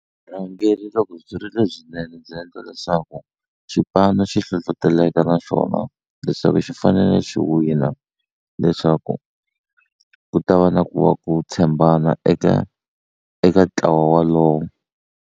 Vurhangeri loko byi ri lebyinene byi endla leswaku xipano xi hlohloteleka naxona leswaku xi fanele xi wina leswaku ku ta va na ku va ku tshembana eka eka ntlawa walowo.